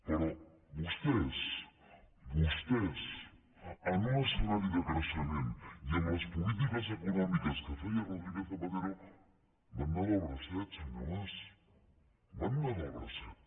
però vostès vostès en un escenari de creixement i amb les polítiques econòmiques que feia rodríguez zapatero van anar del bracet senyor mas van anar del bracet